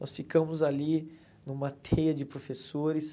Nós ficamos ali numa teia de professores.